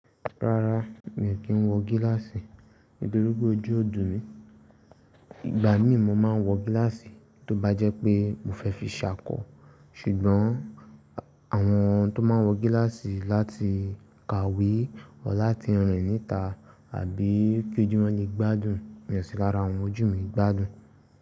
Rárá mi ò kí ń wọ gíláàsì nítorí pé ojú ò dùn mí. Ìgbà míì mo máa ń wọ gíláàsì tó bá jẹ́ pé mo fẹ́ fi ṣá kọ́. Ṣùgbọ́n àwọn tó máa ń wọ gíláàsì láti kàwé ọ láti rìn ni itá àbí kí ojú wọn lè gbádùn, mi ò sí lára àwọn ojú mi gbádùn.